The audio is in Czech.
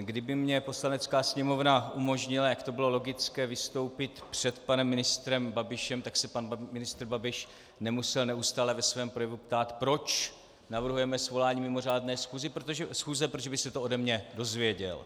kdyby mi Poslanecká sněmovna umožnila, jak to bylo logické, vystoupit před panem ministrem Babišem, tak se pan ministr Babiš nemusel neustále ve svém projevu ptát, proč navrhujeme svolání mimořádné schůze, protože by se to ode mě dozvěděl.